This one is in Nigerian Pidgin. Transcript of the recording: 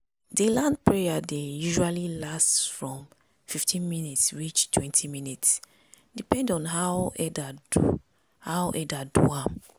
di land prayer dey usually last from fifteen minutes reach twenty minutes depend on how elder do how elder do am.